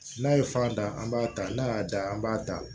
N'a ye fa da an b'a ta n'a y'a da an b'a da